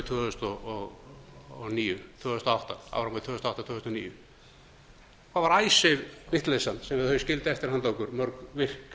tvö þúsund og átta til tvö þúsund og níu hvað var icesave vitleysan sem þeir skildu eftir handa okkur mörg virk